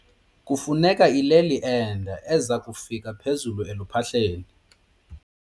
Kufuneka ileli ende eza kufika phezulu eluphahleni.